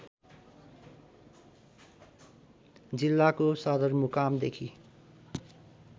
जिल्लाको सदरमुकामदेखि